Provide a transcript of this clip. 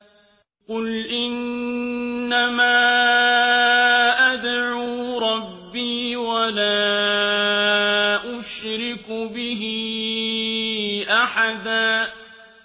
قُلْ إِنَّمَا أَدْعُو رَبِّي وَلَا أُشْرِكُ بِهِ أَحَدًا